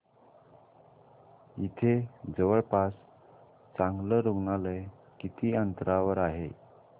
इथे जवळपास चांगलं रुग्णालय किती अंतरावर आहे